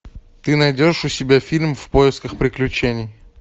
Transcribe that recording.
ты найдешь у себя фильм в поисках приключений